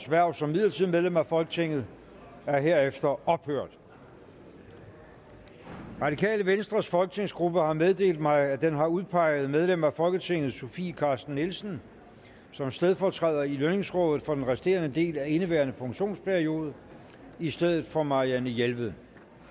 hverv som midlertidigt medlem af folketinget er herefter ophørt det radikale venstres folketingsgruppe har meddelt mig at den har udpeget medlem af folketinget sofie carsten nielsen som stedfortræder i lønningsrådet for den resterende del af indeværende funktionsperiode i stedet for marianne jelved